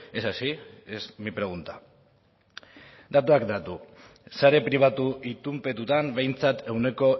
es así es mí pregunta datuak datu sare pribatu itunpetutan behintzat ehuneko